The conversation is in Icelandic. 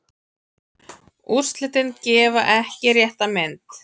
Úrslitin gefa ekki rétta mynd.